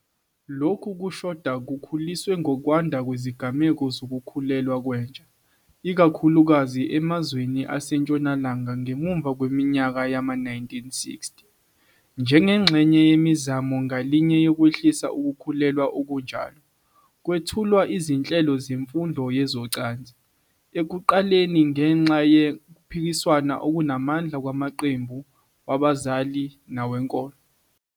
Lokhu kushoda kukhuliswe ngokwanda kwezigameko zokukhulelwa kwentsha, ikakhulukazi emazweni aseNtshonalanga ngemuva kweminyaka yama-1960. Njengengxenye yemizamo yezwe ngalinye yokwehlisa ukukhulelwa okunjalo, kwethulwa izinhlelo zemfundo yezocansi, ekuqaleni ngenxa yokuphikiswa okunamandla kwamaqembu wabazali nawenkolo.